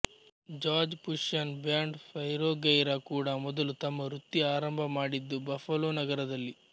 jazz fusion band Spyro Gyra ಕೂಡ ಮೊದಲು ತಮ್ಮ ವೃತ್ತಿ ಆರಂಭ ಮಾಡಿದ್ದು ಬಫಲೋ ನಗರದಲ್ಲಿ